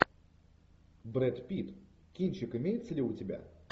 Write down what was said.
брэд питт кинчик имеется ли у тебя